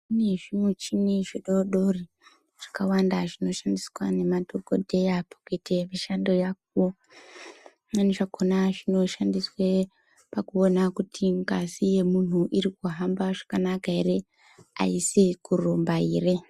Kune zvimuchini zvidodori zvakawanda zvinoshandiswa nemadhokodheya pakuite mishando yavo . Zvimweni zvakona zvinoshandiswe pakuona kuti ngazi yemunhu iri kuhambe zvakanaka ere aiisi kurumba ere.